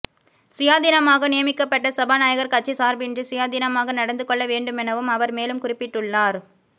சுயாதீனமாக நியமிக்கப்பட்ட சபாநாயகர் கட்சி சார்பின்றி சுயாதீனமாக நடந்துக்கொள்ள வேண்டுமெனவும அவர் மேலும் குறிப்பிட்டுள்ளார்